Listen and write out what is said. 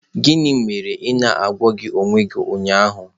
Gịnị mere na ị na-agwọghị ọnya gị ụnyaahụ?